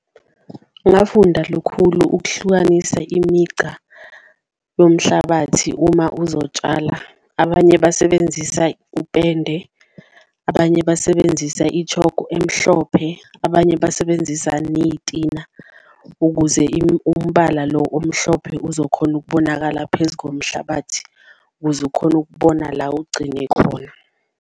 Ngafunda lukhulu ukuhlukanisa imigca yomhlabathi uma uzotshala abanye basebenzisa upende, abanye basebenzisa i-chalk-u emhlophe, abanye basebenzisa neyitina ukuze umbala lo omhlophe uzokhona ukubonakala phezu komhlabathi, kuze ukhone ukubona la ugcine khona.